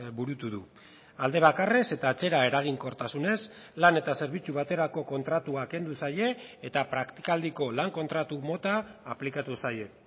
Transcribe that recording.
burutu du alde bakarrez eta atzera eraginkortasunez lan eta zerbitzu baterako kontratua kendu zaie eta praktikaldiko lan kontratu mota aplikatu zaie